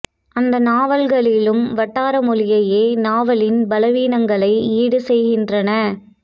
அந்த நாவல்களிலும் வட்டார மொழியே நாவலின் பலவீனங்களை ஈடு செய்கின்றன